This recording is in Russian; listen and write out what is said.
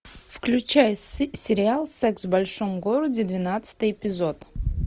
включай сериал секс в большом городе двенадцатый эпизод